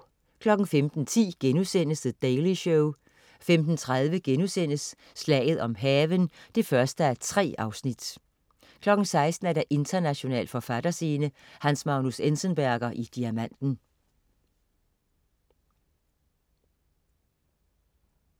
15.10 The Daily Show* 15.30 Slaget om havnen 1:3* 16.00 International forfatterscene: Hans Magnus Enzensberger i Diamanten